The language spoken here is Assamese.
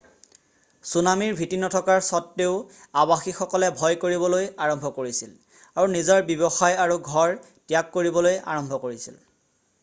চুনামীৰ ভীতি নথকাৰ সত্ত্বেও আৱাসীসকলে ভয় কৰিবলৈ আৰম্ভ কৰিছিল আৰু নিজৰ ব্যৱসায় আৰু ঘৰ ত্যাগ কৰিবলৈ আৰম্ভ কৰিছিল৷